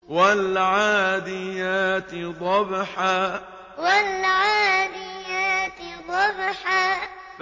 وَالْعَادِيَاتِ ضَبْحًا وَالْعَادِيَاتِ ضَبْحًا